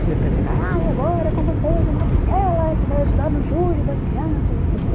Fui apresentar, ah, e agora com vocês o Matusquela, que vai ajudar no júri das crianças, não sei o quê.